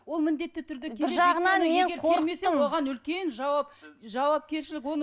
ол міндетті түрде бір жағынан мен қорықтым оған үлкен жауап жауапкершілік